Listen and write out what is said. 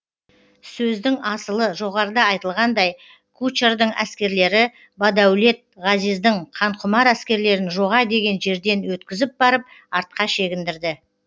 сөздің асылы жоғарыда айтылғандай кучардың әскерлері бадәулет ғазиздің қанқұмар әскерлерін жоға деген жерден өткізіп барып артқа шегіндірді